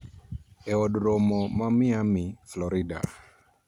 E Od Romo man Miami, Florida